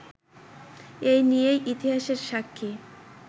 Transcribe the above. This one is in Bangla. এ নিয়েই ইতিহাসের সাক্ষী